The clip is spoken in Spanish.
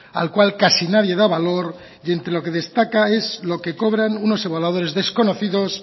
al cual casi nadie da valor y entre lo que destaca es lo que cobran unos evaluadores desconocidos